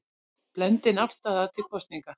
Blendin afstaða til kosninga